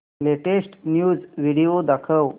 latest news video दाखव